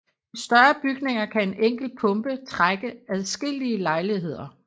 I større bygninger kan en enkelt pumpe trække adskillige lejligheder